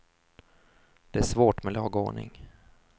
Det är svårt med lag och ordning.